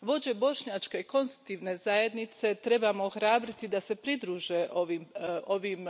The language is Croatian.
Vođe bošnjačke konstitutivne zajednice trebamo ohrabriti da se pridruže ovim